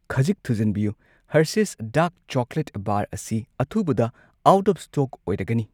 ꯈꯖꯤꯛ ꯊꯨꯖꯟꯕꯤꯌꯨ , Hershey's dark chocolate bar ꯑꯁꯤ ꯑꯊꯨꯕꯗ ꯑꯥꯎꯠ ꯑꯣꯐ ꯁ꯭ꯇꯣꯛ ꯑꯣꯏꯔꯒꯅꯤ꯫